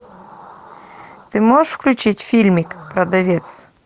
ты можешь включить фильмик продавец